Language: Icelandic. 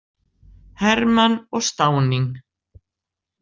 Hermann og Stauning?